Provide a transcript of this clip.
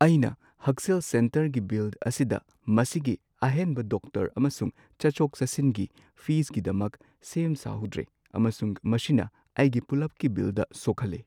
ꯑꯩꯅ ꯍꯛꯁꯦꯜ ꯁꯦꯟꯇꯔꯒꯤ ꯕꯤꯜ ꯑꯁꯤꯗ ꯃꯁꯤꯒꯤ ꯑꯍꯦꯟꯕ ꯗꯣꯛꯇꯔ ꯑꯃꯁꯨꯡ ꯆꯠꯊꯣꯛ ꯆꯠꯁꯤꯟꯒꯤ ꯐꯤꯁꯀꯤꯗꯃꯛ ꯁꯦꯝ ꯁꯥꯍꯧꯗ꯭ꯔꯦ, ꯑꯃꯁꯨꯡ ꯃꯁꯤꯅ ꯑꯩꯒꯤ ꯄꯨꯂꯞꯀꯤ ꯕꯤꯜꯗ ꯁꯣꯛꯍꯜꯂꯦ꯫